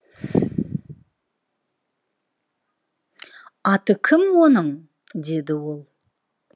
аты кім оның деді ол